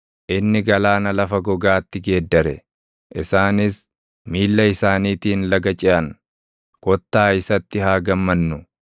Inni galaana lafa gogaatti geeddare; isaanis miilla isaaniitiin laga ceʼan; kottaa isatti haa gammannu!